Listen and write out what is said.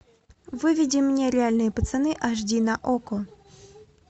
выведи мне реальные пацаны аш ди на окко